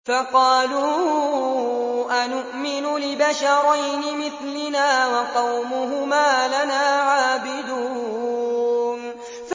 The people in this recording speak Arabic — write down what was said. فَقَالُوا أَنُؤْمِنُ لِبَشَرَيْنِ مِثْلِنَا وَقَوْمُهُمَا لَنَا عَابِدُونَ